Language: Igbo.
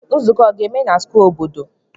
Nzuko a ga-eme na square obodo?